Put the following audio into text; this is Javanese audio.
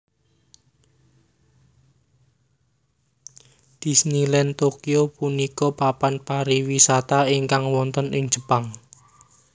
Disneyland Tokyo punika papan pariwisata ingkang wonten ing Jepang